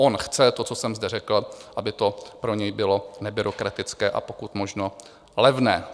On chce to, co jsem zde řekl, aby to pro něj bylo nebyrokratické a pokud možno levné.